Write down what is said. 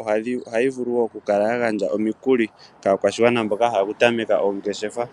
ohayi vulu wo oku gandja omikulu kaakwashigwana mboka ya hala oku tameka oongeshefa.